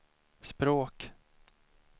språk